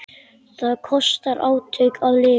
Það kostar átök að lifa.